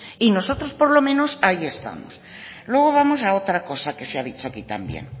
y nosotros por lo menos ahí estamos luego vamos a otra cosa que se ha dicho aquí también